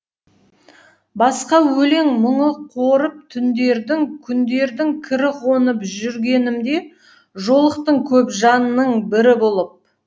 басқа өлең мұңы қорып түндердің күндердің кірі қонып жүргенімде жолықтың көп жанның бірі болып